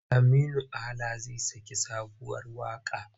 Aminu Ala zai saki sabuwar waƙa.